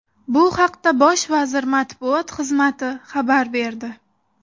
Bu haqda Bosh vazir matbuot xizmati xabar berdi .